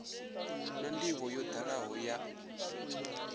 na ndivho yo dalaho ya